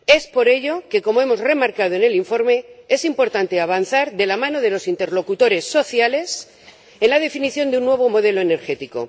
Por ello, como hemos remarcado en el informe, es importante avanzar de la mano de los interlocutores sociales en la definición de un nuevo modelo energético.